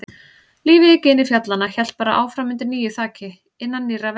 Lífið í gini fjallanna hélt bara áfram undir nýju þaki, innan nýrra veggja.